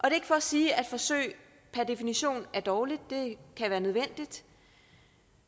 er ikke for at sige at forsøg per definition er dårligt det kan være nødvendigt